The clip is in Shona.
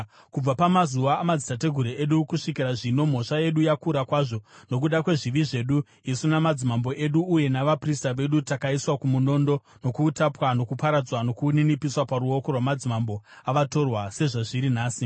Kubva pamazuva amadzitateguru edu kusvikira zvino, mhosva yedu yakura kwazvo. Nokuda kwezvivi zvedu, isu namadzimambo edu uye navaprista vedu takaiswa kumunondo nokuutapwa, nokuparadzwa nokuninipiswa paruoko rwamadzimambo avatorwa sezvazviri nhasi.